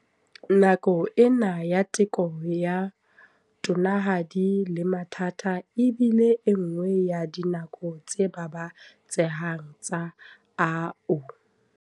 Nako ena ya teko ya tonanahadi le mathata e bile enngwe ya dinako tse babatsehang tsa AU.